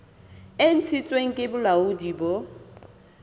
e ntshitsweng ke bolaodi bo